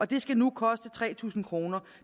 det skal nu koste tre tusind kr og